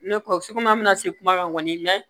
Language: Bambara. Ne kɔ su ko an bɛna se kuma kan kɔni mɛ